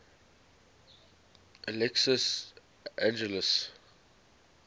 alexios angelos